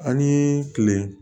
An ni kile